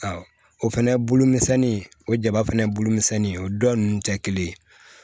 o fɛnɛ bulumisɛnnin o jaba fana bolomisɛnnin o dɔ ninnu tɛ kelen ye